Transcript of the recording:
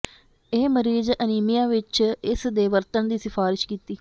ਇਹ ਮਰੀਜ਼ ਅਨੀਮੀਆ ਵਿੱਚ ਇਸ ਦੇ ਵਰਤਣ ਦੀ ਸਿਫਾਰਸ਼ ਕੀਤੀ